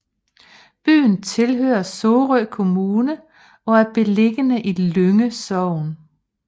Byen tilhører Sorø Kommune og er beliggende i Lynge Sogn